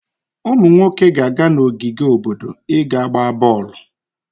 Ụmụ nwoke ga-aga n'ogige obodo i ga-gbaa bọọlụ.